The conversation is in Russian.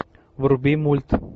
вруби мульт